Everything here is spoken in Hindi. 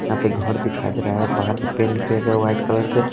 यहाँ पे घर दिखाई दे रहा है बाहर से पेंड किया गया वाइट कलर से --